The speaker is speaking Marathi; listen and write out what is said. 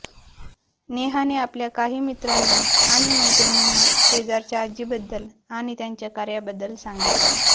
नेहाने आपल्या काही मित्रांना आणि मैत्रिणींना शेजारच्या आजीबद्दल आणि त्यांच्या कार्याबद्दल सांगितलं